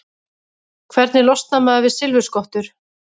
Hvernig losnar maður við silfurskottur?